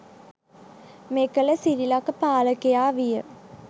මෙකල සිරිලක පාලකයා විය.